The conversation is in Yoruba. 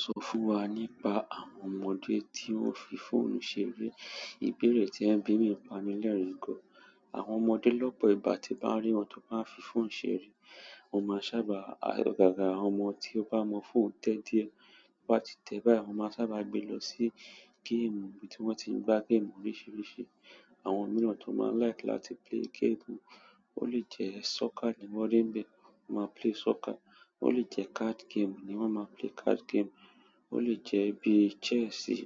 Sọ fún wa nípa àwọn ọmọdé tí wón fi fóònù ṣeré. Ìbéèrè tí ẹ̀ ń bí mi pami lẹ̀rín gan. Àwọn ọmọdé lọ́pọ̀ ìgbà tí bá rí wọn tó bá fi fóònù ṣeré, mo máa sábà ayọ̀ gágà. Àwọn ọmọ tí ó bá mọ́ fóònù tẹ́ díẹ̀, tó bá ti tẹ̀ báyìí, wọ́n máa sábà gbé e lọ sí géèmù ibi tí wọ́n ti ń gba géèmù oríṣiríṣi. Àwọn mìíràn tí wọn máa n làìk láti plè géèmù, ó lè jẹ sọkà ni wọn rí ń bẹ wọn má plè sọkà. Ó lè jẹ card game ni wọ́n máa play card game. O le jẹ bíi jẹ́sì,